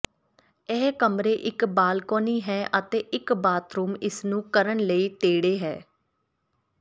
ਇਹ ਕਮਰੇ ਇੱਕ ਬਾਲਕੋਨੀ ਹੈ ਅਤੇ ਇੱਕ ਬਾਥਰੂਮ ਇਸ ਨੂੰ ਕਰਨ ਲਈ ਤੇੜੇ ਹੈ